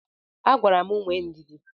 Agwara m nwee ndidi.